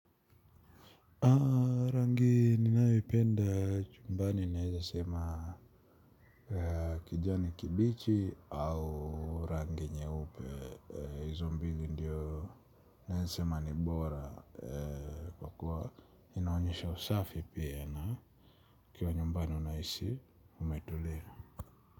Mi penda chumbani naeza sema kijani kibichi au rangi nyeupe, hizo mbili ndiyo naeza sema ni bora kwa kuwa inaonyesha usafi pia na ukiwa nyumbani unahisi umetulia.